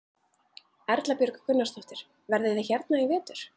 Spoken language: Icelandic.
Erla Björg Gunnarsdóttir: Verðið þið hérna í vetur?